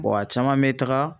Bɔn a caman be taga